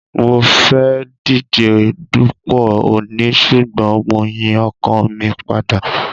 Mo fẹ́ díje dupò ọọ̀ni ṣùgbọ́n mo yín ọkàn mi padà.